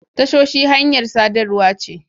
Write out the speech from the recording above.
Tashoshi hanyar sadarwa ce.